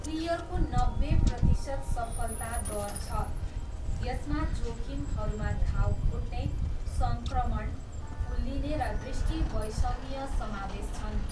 क्लियरको नब्बे प्रतिशत सफलता दर छ। यसमा जोखिमहरूमा घाउ फुट्ने, सङ्क्रमण, फुल्लिने, र दृष्टिवैषम्य समावेश छन्।